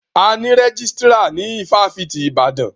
A ní rẹ́jísítírà ní ifáfitì Ibadan.